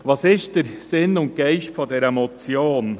Was ist der Sinn und Geist dieser Motion?